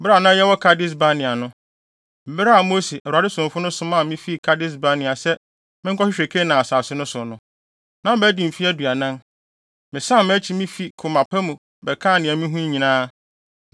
Bere a Mose, Awurade somfo no somaa me fi Kades-Barnea sɛ menkɔhwehwɛ Kanaan asase no so no, na madi mfe aduanan. Mesan mʼakyi na mifi koma pa mu bɛkaa nea mihuu nyinaa,